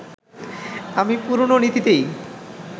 আমি পুরনো নীতিতেই